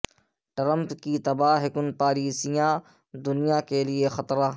Trump کی تباہ کن پالیسیاں دنیا کے لیے خطرہ